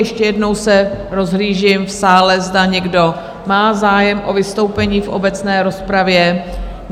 Ještě jednou se rozhlížím v sále, zda někdo má zájem o vystoupení v obecné rozpravě?